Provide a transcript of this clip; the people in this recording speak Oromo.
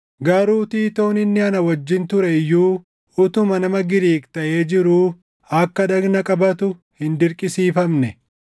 Garuu Tiitoon inni ana wajjin ture iyyuu utuma nama Giriik taʼee jiruu akka dhagna qabatu hin dirqisiifamne.